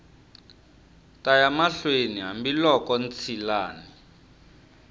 ta ya mahlweni hambiloko ntshilani